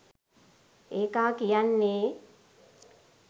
ඒකා කියන්නේ